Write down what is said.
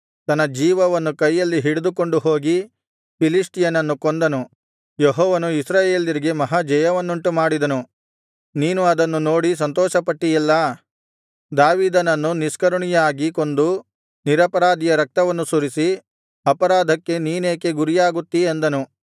ತನ್ನ ಜೀವವನ್ನು ಕೈಯಲ್ಲಿ ಹಿಡಿದುಕೊಂಡು ಹೋಗಿ ಫಿಲಿಷ್ಟಿಯನನ್ನು ಕೊಂದನು ಯೆಹೋವನು ಇಸ್ರಾಯೇಲ್ಯರಿಗೆ ಮಹಾ ಜಯವನ್ನುಂಟುಮಾಡಿದನು ನೀನು ಅದನ್ನು ನೋಡಿ ಸಂತೋಷಪಟ್ಟಿಯಲ್ಲಾ ದಾವೀದನನ್ನು ನಿಷ್ಕರುಣೆಯಾಗಿ ಕೊಂದು ನಿರಪರಾಧಿಯ ರಕ್ತವನ್ನು ಸುರಿಸಿ ಅಪರಾಧಕ್ಕೆ ನೀನೇಕೆ ಗುರಿಯಾಗುತ್ತೀ ಅಂದನು